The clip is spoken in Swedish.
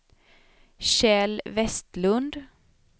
Kjell Westlund